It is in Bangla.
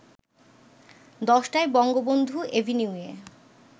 ১০টায় বঙ্গবন্ধু এভিনিউয়ে